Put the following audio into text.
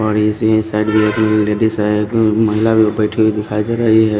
बड़ी सी साइड में एक लेडीस है एक महिला भी बैठी हुई दिखाई दे रही है।